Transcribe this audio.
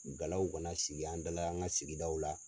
Galaw kana sigi an dala an ka sigidaw la